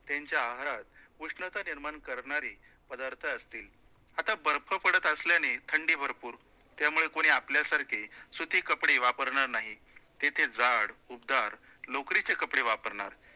त्यांच्या आहारात उष्णता निर्माण करणारी पदार्थ असतील, आता बर्फ पडतं असल्याने थंडी भरपूर त्यामुळे कोणी आपल्यासारखे सूती कपडे वापरणार नाही, तिथे जाड, उबदार लोकरीचे कपडे वापरणार